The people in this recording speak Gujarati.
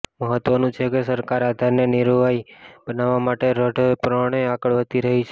મહત્વનું છે કે સરકાર આધારને અનિવાર્ય બનાવવા માટે દ્રઢપણે આગળ વધી રહી છે